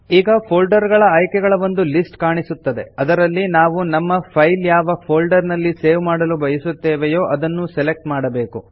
ಈಗ ಫೋಲ್ಡರ್ ಆಯ್ಕೆಗಳ ಒಂದು ಲಿಸ್ಟ್ ಕಾಣಿಸುತ್ತದೆ ಅದರಲ್ಲಿ ನಾವು ನಮ್ಮ ಫೈಲ್ ಯಾವ ಫೋಲ್ಡರ್ ನಲ್ಲಿ ಸೇವ್ ಮಾಡಲು ಬಯಸುತ್ತೇವೆಯೋ ಅದನ್ನು ಸೆಲೆಕ್ಟ್ ಮಾಡಬೇಕು